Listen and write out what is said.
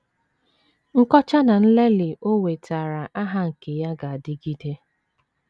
Nkọcha na nlelị o wetaara aha nke ya ga - adịgide.